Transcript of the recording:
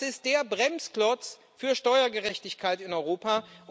Das ist der Bremsklotz für Steuergerechtigkeit in Europa.